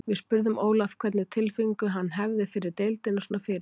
Við spurðum Ólaf hvernig tilfinningu hann hefði fyrir deildina svona fyrirfram.